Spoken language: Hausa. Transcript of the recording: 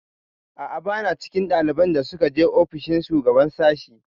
A'a, ba na cikin ɗaliban da suka je ofishin shugaban sashi.